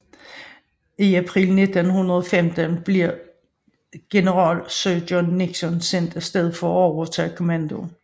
I april 1915 blev general Sir John Nixon sendt afsted for at overtage kommandoen